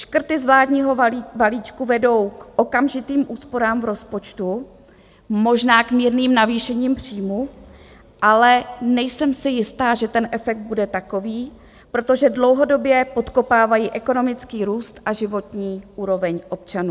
Škrty z vládního balíčku vedou k okamžitým úsporám v rozpočtu, možná k mírným navýšením příjmů, ale nejsem si jistá, že ten efekt bude takový, protože dlouhodobě podkopávají ekonomický růst a životní úroveň občanů.